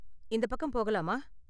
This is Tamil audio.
இந்தப் பக்கம் போகலாமா?